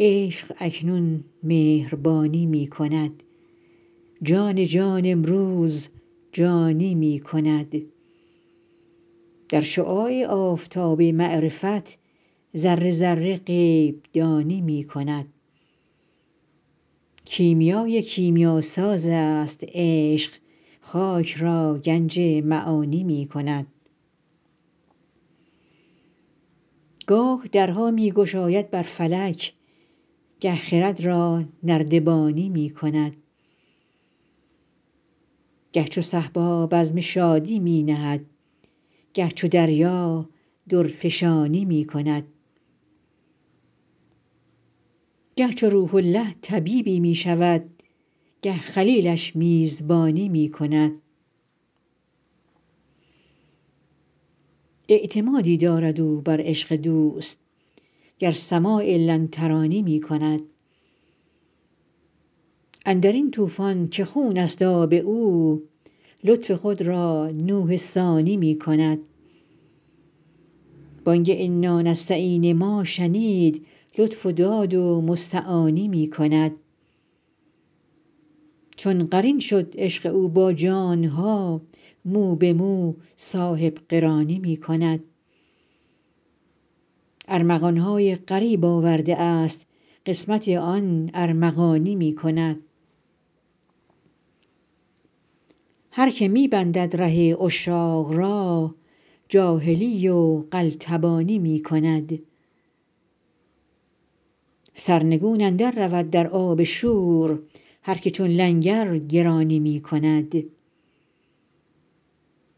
عشق اکنون مهربانی می کند جان جان امروز جانی می کند در شعاع آفتاب معرفت ذره ذره غیب دانی می کند کیمیای کیمیاسازست عشق خاک را گنج معانی می کند گاه درها می گشاید بر فلک گه خرد را نردبانی می کند گه چو صهبا بزم شادی می نهد گه چو دریا درفشانی می کند گه چو روح الله طبیبی می شود گه خلیلش میزبانی می کند اعتمادی دارد او بر عشق دوست گر سماع لن ترانی می کند اندر این طوفان که خونست آب او لطف خود را نوح ثانی می کند بانگ انانستعین ما شنید لطف و داد و مستعانی می کند چون قرین شد عشق او با جان ها مو به مو صاحب قرانی می کند ارمغان های غریب آورده است قسمت آن ارمغانی می کند هر که می بندد ره عشاق را جاهلی و قلتبانی می کند سرنگون اندررود در آب شور هر که چون لنگر گرانی می کند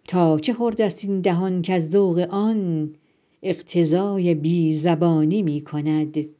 تا چه خوردست این دهان کز ذوق آن اقتضای بی زبانی می کند